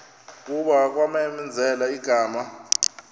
kuba kwamenzela igama